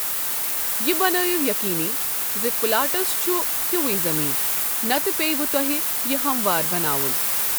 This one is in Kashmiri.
یہِ بنٲیِو یٔقیٖنی زِ پلاٹَس چھُ ہیوٗوُے زمین، نَتہٕ پٮ۪یَو تۄہہِ یہِ ہموار بناوُن۔